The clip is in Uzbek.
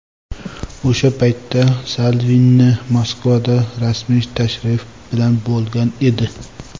O‘sha paytda Salvini Moskvada rasmiy tashrif bilan bo‘lgan edi.